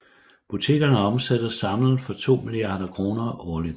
Butikkerne omsætter samlet for 2 milliarder kroner årligt